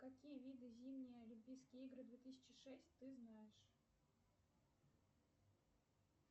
какие виды зимние олимпийские игры две тысячи шесть ты знаешь